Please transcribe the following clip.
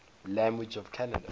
languages of canada